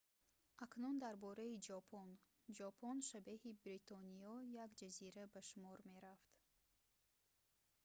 акнун дар бораи ҷопон ҷопон шабеҳи бритониё як ҷазира ба шумор мерафт